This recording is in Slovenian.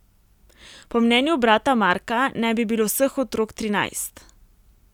Po mnenju brata Marka naj bi bilo vseh otrok trinajst.